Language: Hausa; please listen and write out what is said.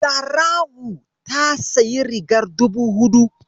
Zara'u ta sayi rigar dubu huɗu.